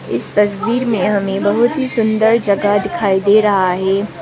इस तस्वीर में हमें बहुत ही सुंदर जगह दिखाई दे रहा है।